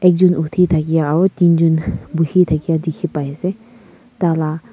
ekjon uthithakya aro ekjonbuhithaka dikhipaase tala--